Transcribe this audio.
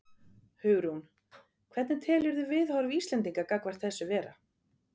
Hugrún: Hvernig telurðu viðhorf Íslendinga gagnvart þessu vera?